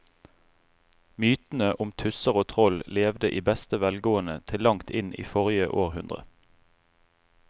Mytene om tusser og troll levde i beste velgående til langt inn i forrige århundre.